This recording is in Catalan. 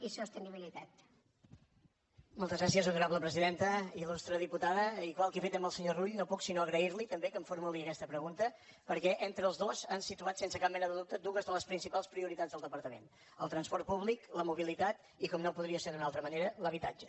il·lustre diputada igual que he fet amb el senyor rull no puc sinó agrair li també que em formuli aquesta pregunta perquè entre tots dos han situat sense cap mena de dubte dues de les principals prioritats del departament el transport públic la mobilitat i com no podria ser d’una altra manera l’habitatge